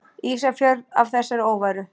Ísafjörð af þessari óværu!